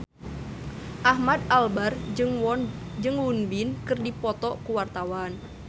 Ahmad Albar jeung Won Bin keur dipoto ku wartawan